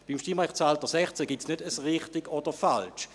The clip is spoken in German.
Beim Stimmrechtsalter 16 gibt es kein Richtig oder Falsch;